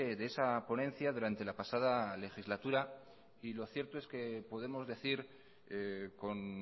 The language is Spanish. de esa ponencia durante la pasada legislatura y lo cierto es que podemos decir con